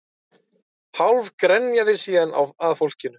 Hálf grenjaði síðan að fólkinu